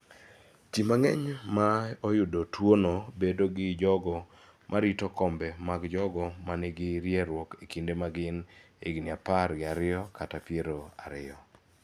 Ji mang�eny ma oyudo tuo no bedo gi jogo ma rito kombe mag jogo ma nigi rieruok e kinde ma gin higni apar gi ariyo kata piero ariyo.